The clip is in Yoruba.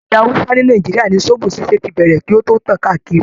Ilẹ̀ hausa ni Nàìjíríà ni zobo ṣíṣe tí bẹ̀rẹ̀ kí o tó tàn káàkiri.